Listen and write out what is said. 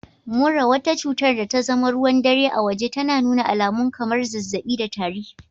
Mura, wata cutar da tazama ruwan dare a waje, tana nuna alamun kamar zazzabi da tari